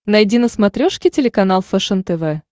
найди на смотрешке телеканал фэшен тв